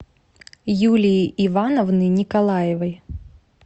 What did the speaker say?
юлии ивановны николаевой